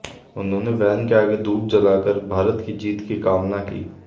उन्होंने वैन के आगे धूप जलाकर भारत की जीत की कामना की